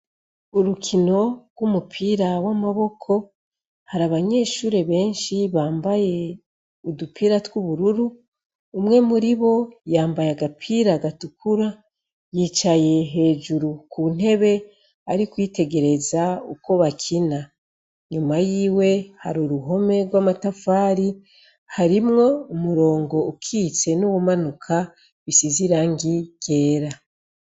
Urukino rw'umupira w'amaboko hari abanyeshuri benshi bambaye udupira tw'ubururu umwe muri bo yambaye agapira gatukura yicaye hejuru ku ntebe ari kwitegereza uko bakina nyuma y'iwe hari uruhome rw'amatafari harimwo umurongo ukitse n'uwumanuka bisize irangi ryera.